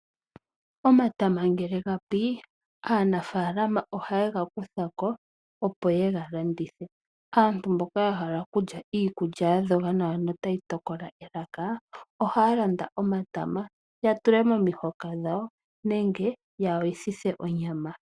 Omatama ngele ga pi, aanafalama ohaye ga kutha ko opo ye ga landithe. Aantu mboka ya hala okulya iikulya ya dhoga nawa notayi tokola elaka, ohaya landa omatama ya tule momihoka dhawo nenge ya yoyithe onyama.